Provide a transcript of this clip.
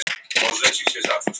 Otta